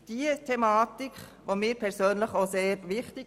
Diese Thematik ist mir persönlich sehr wichtig.